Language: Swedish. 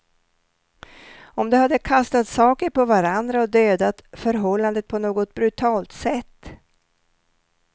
Om de hade kastat saker på varandra och dödat förhållandet på något brutalt sätt.